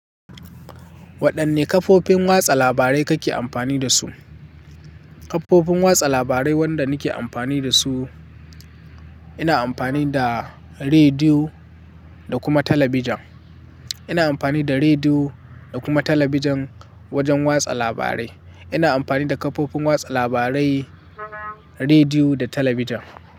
Waɗanne kafofin watsa labarai kake amfani da su? Kafofin watsa labarai waɗanda nake amfani da su, ina amfani da rediyo da kuma talabijin. Ina amfani da rediyo da kuma talabijin wajen watsa labarai. Ina amfani da kafofin watsa labarai, rediyo da talabijin.